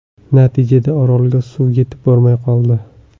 Natijada, Orolga suv yetib bormay qoldi.